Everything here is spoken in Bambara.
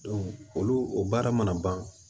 olu baara mana ban